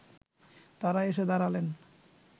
তাঁরা এসে দাঁড়ালেন